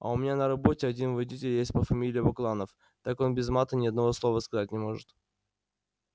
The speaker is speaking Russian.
а у меня на работе один водитель есть по фамилии бакланов так он без мата ни одного слова сказать не может